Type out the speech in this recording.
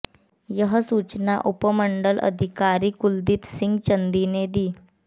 यह सूचना उपमंडल अधिकारी कुलदीप सिंह चंदी ने दी